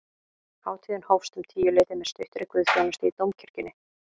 Hátíðin hófst um tíuleytið með stuttri guðsþjónustu í dómkirkjunni